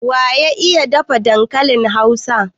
Waya iya dafa dankalin Hausa?